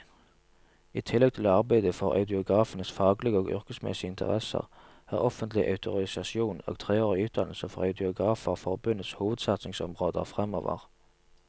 I tillegg til å arbeide for audiografenes faglige og yrkesmessige interesser, er offentlig autorisasjon og treårig utdannelse for audiografer forbundets hovedsatsingsområder fremover.